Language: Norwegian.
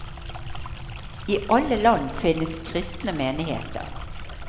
I alle land finnes kristne menigheter.